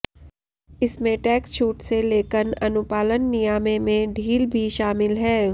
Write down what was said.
इसमें टैक्स छूट से लेकन अनुपालन नियामें में ढील भी शामिल है